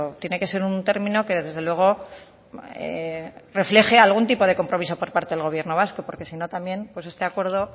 tiene que ser un término que desde luego refleje algún tipo de compromiso por parte del gobierno vasco porque si no también este acuerdo